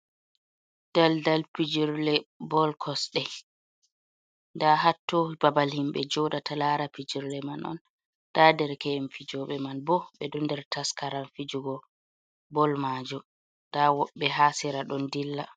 Dal dal pijirle bol kosɗe, nda hattoni babal himɓɓe joɗata lara pijirle man on nda derkey'en fijoɓe man bo ɓeɗo nder taskaran fijugo bol majum nda woɓɓe ha sera ɗon dilla.